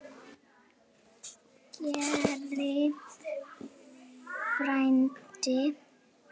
Kæri frændi.